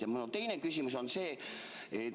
Ja minu teine küsimus on see.